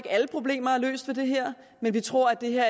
alle problemer er løst ved det her men vi tror at det